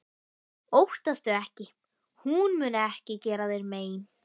Óttastu ekki- hún mun ekki gera þér mein.